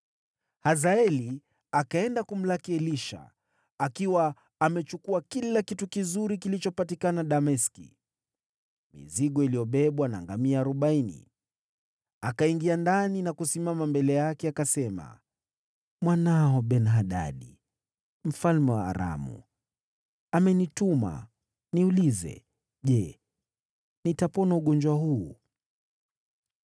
Hazaeli akaenda kumlaki Elisha, akiwa amechukua zawadi ya kila kitu kizuri kilichopatikana Dameski, mizigo iliyobebwa na ngamia arobaini. Akaingia ndani na kusimama mbele yake, akasema, “Mwanao Ben-Hadadi mfalme wa Aramu amenituma niulize, ‘Je, nitapona ugonjwa huu?’ ”